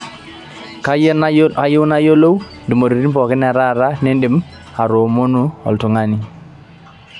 kayie nayiolou ntumoritin pooki e taata nindim aitoomono oltungani